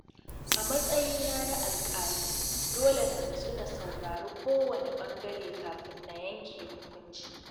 A matsayina na alƙali, dole na nutsu na saurari kowane ɓangare kafin na yanke hukunci.